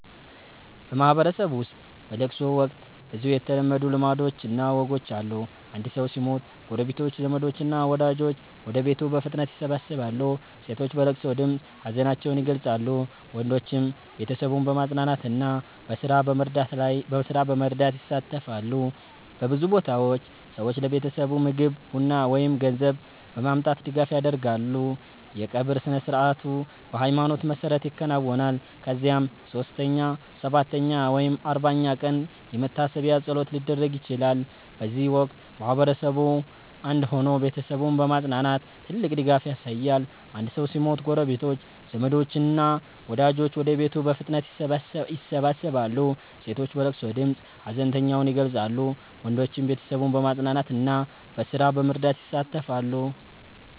በማህበረሰብ ውስጥ በለቅሶ ወቅት ብዙ የተለመዱ ልማዶችና ወጎች አሉ። አንድ ሰው ሲሞት ጎረቤቶች፣ ዘመዶች እና ወዳጆች ወደ ቤቱ በፍጥነት ይሰበሰባሉ። ሴቶች በለቅሶ ድምፅ ሀዘናቸውን ይገልጻሉ፣ ወንዶችም ቤተሰቡን በማጽናናትና በስራ በመርዳት ይሳተፋሉ። በብዙ ቦታዎች ሰዎች ለቤተሰቡ ምግብ፣ ቡና ወይም ገንዘብ በማምጣት ድጋፍ ያደርጋሉ። የቀብር ስነ-ሥርዓቱ በሃይማኖት መሰረት ይከናወናል፣ ከዚያም 3ኛ፣ 7ኛ ወይም 40ኛ ቀን የመታሰቢያ ፀሎት ሊደረግ ይችላል። በዚህ ወቅት ማህበረሰቡ አንድ ሆኖ ቤተሰቡን በማጽናናት ትልቅ ድጋፍ ያሳያል። አንድ ሰው ሲሞት ጎረቤቶች፣ ዘመዶች እና ወዳጆች ወደ ቤቱ በፍጥነት ይሰበሰባሉ። ሴቶች በለቅሶ ድምፅ ሀዘናቸውን ይገልጻሉ፣ ወንዶችም ቤተሰቡን በማጽናናትና በስራ በመርዳት ይሳተፋሉ።